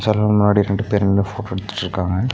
Mirror முன்னாடி ரெண்டு பேரு நின்னு போட்டோ எடுத்துட்ருக்காங்க.